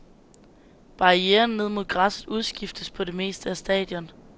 Barrieren ned mod græsset udskiftes på det meste af stadion.